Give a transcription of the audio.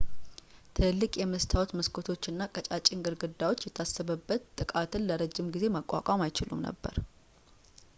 ትልልቅ የመስታወት መስኮቶች እና ቀጫጭን ግድግዳዎች የታሰበበት ጥቃትን ለረጅም ጊዜ መቋቋም አይችሉም ነበር